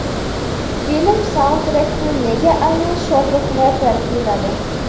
Film saundtrekini nega aynan Shohrux reper kuyladi?